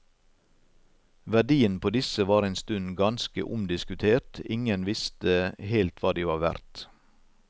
Verdien på disse var en stund ganske omdiskutert, ingen viste helt hva de var verdt.